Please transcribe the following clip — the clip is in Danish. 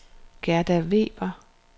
Gerda Weber